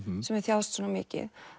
sem hefur þjáðst svona mikið